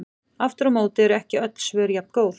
Aftur á móti eru ekki öll svör jafngóð.